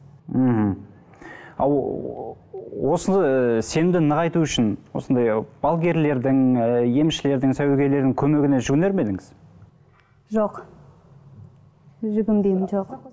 мхм а осы сенімді нығайту үшін осындай балгерлердің ы емшілердің сәуегейлердің көмегіне жүгінер ме едіңіз жоқ жүгінбеймін жоқ